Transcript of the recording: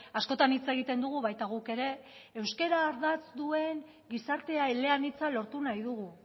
askotan hitz egiten dugu baita guk ere euskara ardatz duen gizartea eleanitza lortu nahi dugu